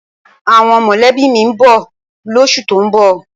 Àwọn mọ̀lẹ́bí mi ń bọ̀ lóṣù tó ń bọ̀